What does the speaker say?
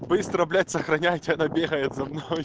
быстро блять сохраняйте она бегает за мной